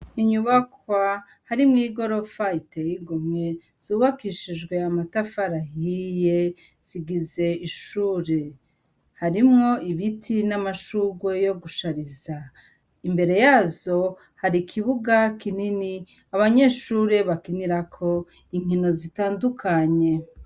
Inyubakwa harimwo igorofa iteye igomwe, zubakishijwe amatafari ahiye, zigiza ishure. Harimwo ibiti n'amashugwe yo gushariza. Imbere yazo hari ikibuga kinini abanyeshure bakinirako inkino zitandukanye.